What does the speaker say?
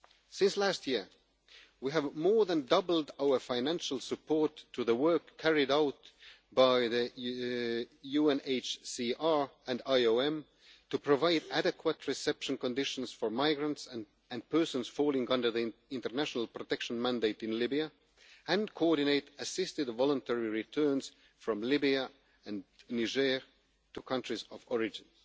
Since last year, we have more than doubled our financial support for the work carried out by UNHCR and IOM to provide adequate reception conditions for migrants and persons falling under the international protection mandate in Libya, and to coordinate assisted voluntary returns from Libya and Niger to countries of origin.